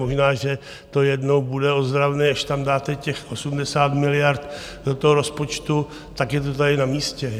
Možná, že to jednou bude ozdravný, až tam dáte těch 80 miliard do toho rozpočtu, tak je to tady na místě.